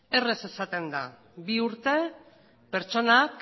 errez esaten da bi urte pertsonak